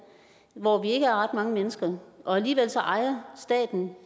hvor vi ikke er ret mange mennesker og alligevel ejer staten